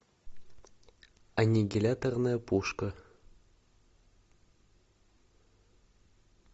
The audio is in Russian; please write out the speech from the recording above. аннигиляторная пушка